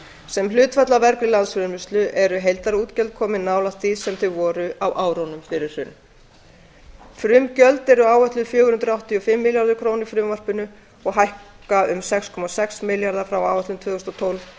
sem hlutfall af af eru heildarútgjöld komin nálægt því sem þau voru á árunum fyrir hrun frumgjöld eru áætluð fjögur hundruð áttatíu og fimm milljarðar króna í frumvarpinu og hækka um sex komma sex milljarða frá áætlun tvö þúsund og tólf